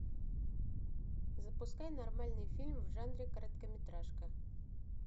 запускай нормальный фильм в жанре короткометражка